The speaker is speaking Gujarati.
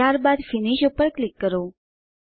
ત્યારબાદ ફિનિશ પર ક્લિક કરો